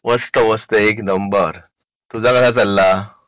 मस्त मस्त एक नंबर तुझा कसा चालला